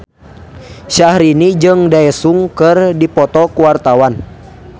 Syahrini jeung Daesung keur dipoto ku wartawan